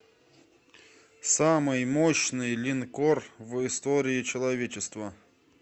самый мощный линкор в истории человечества